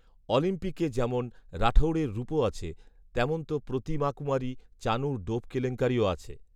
অলিম্পিকে যেমন রাঠৌড়ের রুপো আছে, তেমন তো প্রতিমাকুমারী, চানুর ডোপ কেলেঙ্কারিও আছে